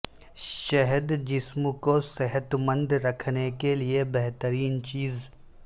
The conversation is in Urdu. شہد جسم کو صحت مند رکھنے کے لیے بہترین چیز